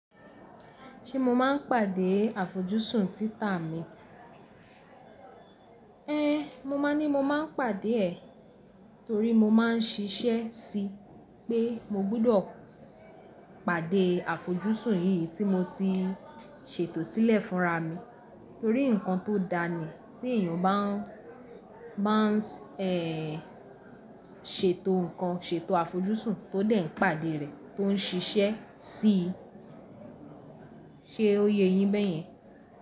Ṣé mo máa ń pàdé àfojúsùn títà mi? Ée, mo máa ní mo máa ń pàdé ẹ̀ torí mo máa ń ṣiṣẹ́ sí i pé mo gbọ́dọ̀ pàdé àfojúsùn yìí tí mo ti ṣètò sílẹ̀ fúnra mi torí nǹkan tó dáa ní tí èèyàn bá máa ń ṣètò nǹkan, ṣètò àfojúsùn tó dé ń pàdé rẹ̀ tó ń ṣiṣẹ́ sí i. Ṣé o yé yin bẹ́è yen?